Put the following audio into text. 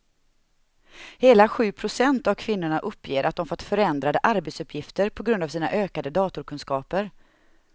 Hela sju procent av kvinnorna uppger att de fått förändrade arbetsuppgifter på grund av sina ökade datorkunskaper.